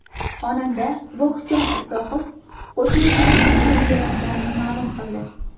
Xonanda Vohidjon Isoqov qo‘shnisining qiziga uylanayotganini ma’lum qildi .